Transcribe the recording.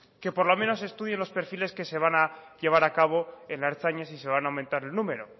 que por lo menos estudien los perfiles que se van a llevar a cabo en la ertzaintza si se van a aumentar el número